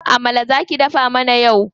Amala za ki dafa mana yau.